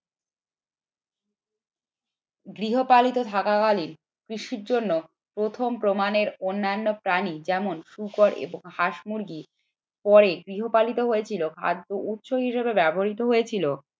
গৃহপালিত থাকাকালীন কৃষির জন্য প্রথম প্রমাণের অন্যান্য প্রাণী যেমন শুকর এবং হাঁস মুরগি পরে গৃহপালিত হয়েছিল এবং খাদ্য হিসেবে ব্যবহৃত হয়েছিল